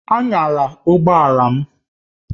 Anyala ụgbọ ala m!